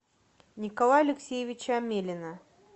николая алексеевича амелина